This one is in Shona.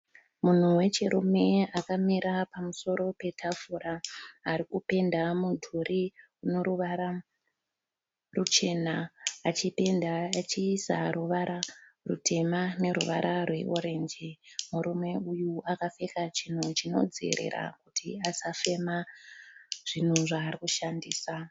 Munhu wechirume akamira pamusoro petafura ari kupenda mudhuri noruvara ruchena achipenda achiisa ruvara rutema neruvara rweorenji. Murume uyu akapfeka chinhu chinodzivirira kuti asafema zvaari kushandisa.